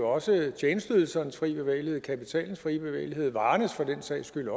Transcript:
også tjenesteydelsernes frie bevægelighed kapitalens frie bevægelighed også varernes for den sags skyld